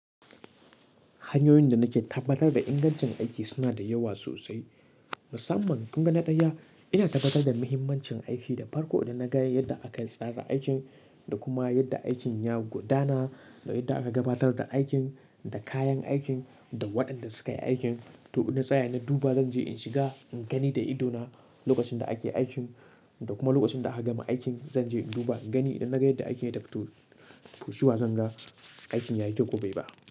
Hanyoyin da nake tabbatar da ingancin aiki suna da yawa sosai. Musamman kun ga na ɗaya ina tabbatar da muhimmancin aiki da farko, idan na ga yadda aka tsara aikin, da kuma yadda aikin ya gudana, da yadda aka gabatar da aikin, da kayan aikin, da waɗanda suka yi aikin. To, in na tsaya na duba zan je in shiga in gani da idona lokacin da ake aikin da kuma lokacin da aka gama aikin zan je in duba gani idan na ga yadda aikin ya tafi fu shuwa zan ga aikin ya yi to ko bai ba.